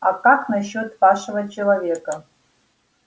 а как насчёт вашего человека